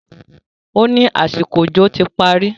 ó ní àsìkò òjò ti parí